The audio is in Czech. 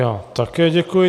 Já také děkuji.